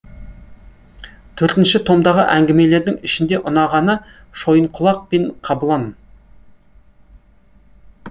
төртінші томдағы әңгімелердің ішінде ұнағаны шойынқұлақ пен қабылан